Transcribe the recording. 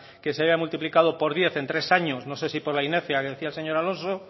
que se haya multiplicado por diez en tres años no sé si por la inercia que decía el señor alonso